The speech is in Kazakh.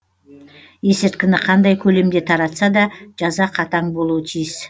есірткіні қандай көлемде таратса да жаза қатаң болуы тиіс